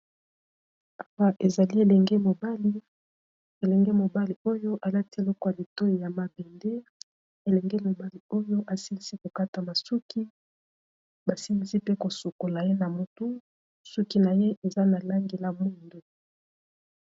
Awa ezali elenge mobali, elenge mobali oyo alati eleko litoyi ya mabende elenge mobali oyo asilisi kokata basuki basilisi mpe kosukola ye na motu suki na ye eza na langi na mutu.